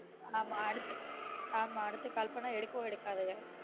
ஆமா அடுத்து ஆமா அடுத்து call பண்ணா எடுக்கவே எடுக்காத